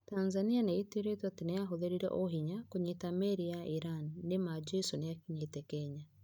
Tanzania nĩ ĩtuĩrĩtwo atĩ nĩ yahũthĩrire "ũhinya" kũnyiita meri ya Irani. Nĩ ma 'Jesũ niakinyete Kenya.